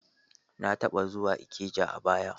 Na taba zuwa Ikeja a baya.